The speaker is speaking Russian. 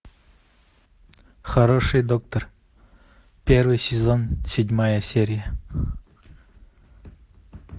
хороший доктор первый сезон седьмая серия